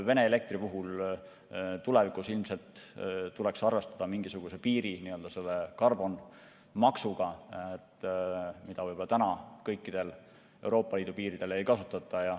Vene elektri puhul tuleks tulevikus ilmselt arvestada mingisuguse piiri, nii-öelda karbonmaksuga, mida kõikidel Euroopa Liidu piiridel juba ei kasutata.